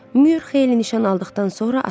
Myur xeyli nişan aldıqdan sonra atdı.